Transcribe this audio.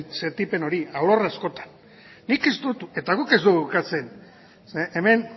sentipen hori alorrez jota nik ez dut eta guk ez dugu ukatzen ze hemen